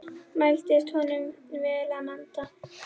Mæltist honum vel að vanda.